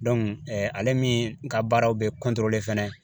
ale min ka baaraw bɛ fɛnɛ